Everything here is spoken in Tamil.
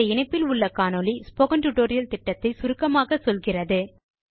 இந்த இணைப்பில் உள்ள காணொளி ஸ்போக்கன் டியூட்டோரியல் திட்டத்தை சுருக்கமாக சொல்கிறது